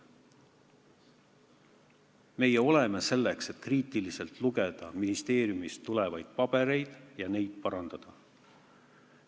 Meie oleme selleks, et kriitiliselt lugeda ministeeriumist tulevaid pabereid ja neid parandada.